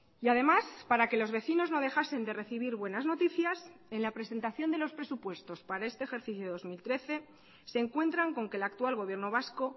y además para que los vecinos no dejasen de recibir buenas noticias en la presentación de los presupuestos para este ejercicio dos mil trece se encuentran con que el actual gobierno vasco